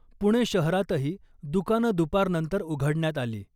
पुणे शहरातही दुकानं दुपारनंतर उघडण्यात आली .